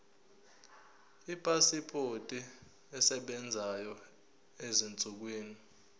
ipasipoti esebenzayo ezinsukwini